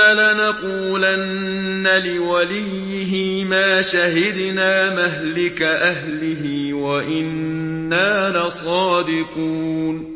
لَنَقُولَنَّ لِوَلِيِّهِ مَا شَهِدْنَا مَهْلِكَ أَهْلِهِ وَإِنَّا لَصَادِقُونَ